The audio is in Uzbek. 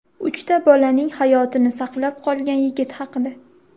Uchta bolaning hayotini saqlab qolgan yigit haqida .